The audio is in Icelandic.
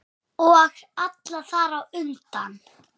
Og alla þar á undan.